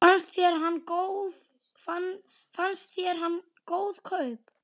Fannst þér hann góð kaup?